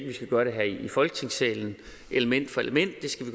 vi skal gøre det her i folketingssalen element for element det skal